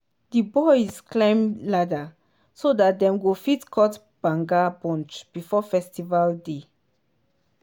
di boys climb tall ladder so dat dem go fit cut banga bunch before festival day.